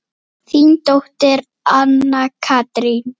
Þín dóttir, Anna Katrín.